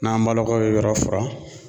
N'an balakaw ye yɔrɔ furan